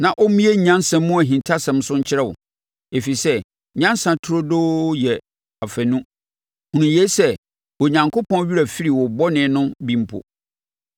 na ɔmmue nyansa mu ahintasɛm so nkyerɛ wo, ɛfiri sɛ nyansa turodoo yɛ afanu. Hunu yei sɛ, Onyankopɔn werɛ afiri wo bɔne no bi mpo.